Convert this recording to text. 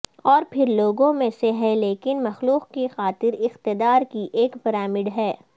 اور پھر لوگوں میں سے ہیں لیکن مخلوق کی خاطر اقتدار کی ایک پرامڈ ہے